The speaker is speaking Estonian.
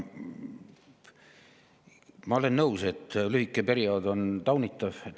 Ma olen nõus, et lühike periood on taunitav.